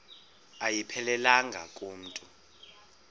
ayiphelelanga ku mntu